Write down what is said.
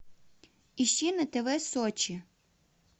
ищи на тв сочи